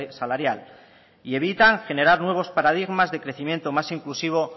salarial y evita generar nuevos paradigmas de crecimiento más inclusivo